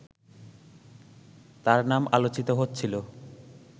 তাঁর নাম আলোচিত হচ্ছিল